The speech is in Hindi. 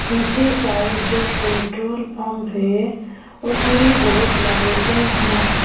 पीछे साइड जो पेट्रोल पंप है उसमें बहुत लाइटें हैं।